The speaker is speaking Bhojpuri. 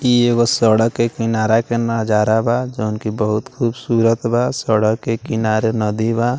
इ एगो सड़क के किनारा का नजारा बा जोन कि बहुत खुबसुरत बा सड़क के किनारे नदी बा।